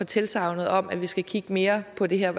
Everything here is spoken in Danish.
tilsagnet om at vi skal kigge mere på det her